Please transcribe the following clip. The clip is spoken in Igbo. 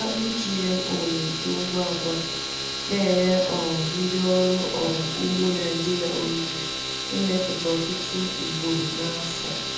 Akpụ GMO na-eto ngwa ngwa, na-enye um ndị ọrụ um ugbo Naijiria ohere ịmepụta ọtụtụ ugboro n’afọ.